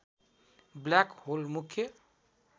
black hole मुख्य